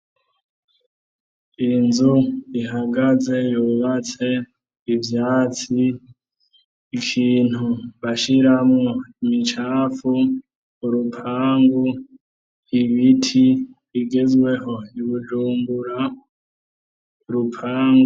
Inzu ihagaze yubatse ivyatsi. Ikintu bashiramwo imicafu, urupangu ibiti bigezweho i Bujumbura, upangu.